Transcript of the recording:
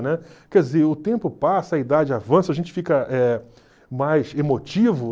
Né? Quer dizer, o tempo passa, a idade avança, a gente fica eh mais emotivo.